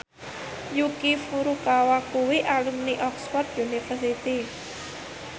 Yuki Furukawa kuwi alumni Oxford university